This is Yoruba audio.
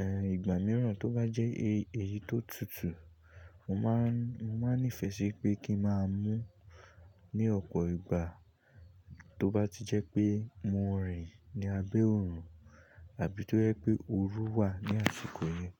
Ẹ, ìgbà mìíràn tó bá jẹ́ èyí tó tutù, mo máa ń nífẹ̀ẹ́ sí pé kí ń máa mu ní ọ̀pọ̀ ìgbà tó bá ti jẹ́ pé mo rìn ní abé òrùn àbí tó jẹ́ pé ooru wà ní àsìkò yẹn.